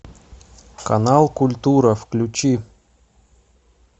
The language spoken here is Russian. канал культура включи